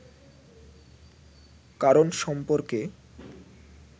কারণ সম্পর্কে